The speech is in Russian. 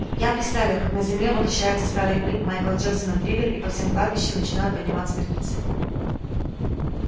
я представил как на земле воплощается старый клип майкла джексона триллер и по всем кладбищам начинают подниматься мертвецы